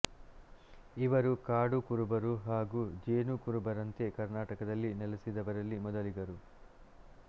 ಇವರು ಕಾಡು ಕುರುಬರು ಹಾಗೂ ಜೇನು ಕುರುಬರಂತೆ ಕರ್ನಾಟಕದಲ್ಲಿ ನೆಲಸಿದವರಲ್ಲಿ ಮೊದಲಿಗರು